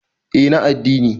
eh na adddini